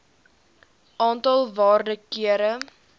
aantal waarde kere